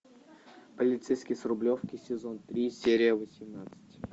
полицейский с рублевки сезон три серия восемнадцать